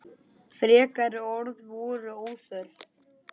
Frekari orð voru óþörf.